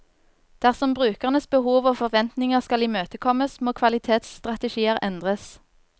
Dersom brukernes behov og forventninger skal imøtekommes, må kvalitetsstrategier endres.